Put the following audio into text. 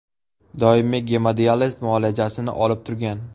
Doimiy gemodializ muolajasini olib turgan.